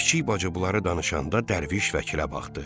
Kiçik bacı bunları danışanda Dərviş Vəkilə baxdı.